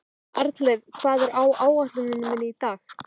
Arnleif, hvað er á áætluninni minni í dag?